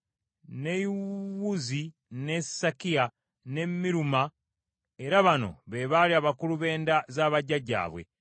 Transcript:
ne Yewuzi, ne Sakiya, ne Miruma, era bano be baali abakulu b’enda za bajjajjaabwe.